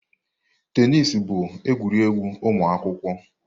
Tenis bụ egwuregwu ụmụ akwụkwọ.